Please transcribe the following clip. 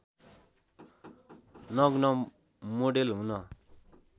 नग्न मोडेल हुन